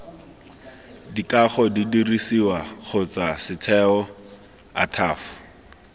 dikago didirisiwa kgotsa setheo ataf